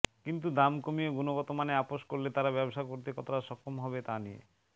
কিন্তু দাম কমিয়ে গুণগতমানে আপোস করলে তারা ব্যবসা করতে কতটা সক্ষম হবে তা নিয়ে